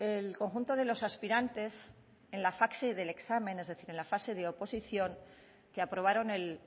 el conjunto de los aspirantes en la fase del examen es decir en la fase de oposición que aprobaron el